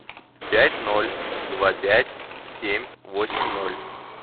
пять ноль два пять семь восемь ноль